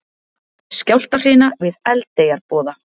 Skjálftahrina við Eldeyjarboða